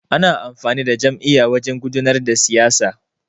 Ana amfani da jam'iyya wajan gudanar da siyasa.